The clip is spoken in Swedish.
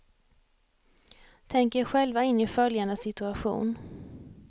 Tänk er själva in i följande situation.